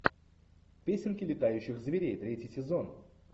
песенки летающих зверей третий сезон